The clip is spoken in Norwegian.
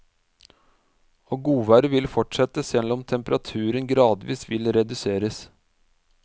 Og godværet vil fortsette, selv om temperaturen gradvis vil reduseres.